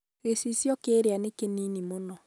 Gicicio kĩĩria nĩ kĩnĩnĩ mũno